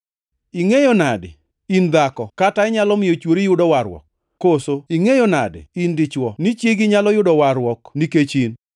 Ingʼeyo nadi, in dhako, kata inyalo miyo chwori yudo warruok? Koso, ingʼeyo nade, in dichwo, ni chiegi nyalo yudo warruok nikech in?